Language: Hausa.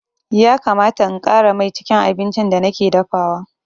Ya kamata in ƙara mai cikin abincin da nake dafawa.